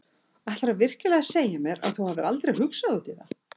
Ætlarðu virkilega að segja mér að þú hafir aldrei hugsað út í það?